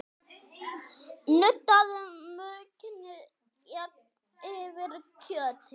Nuddaðu maukinu jafnt yfir kjötið.